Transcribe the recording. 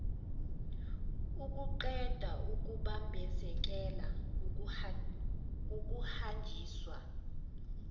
ukuqeda ukubambezeleka kokuhanjiswa